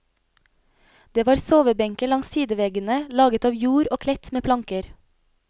Det var sovebenker langs sideveggene laget av jord og kledt med planker.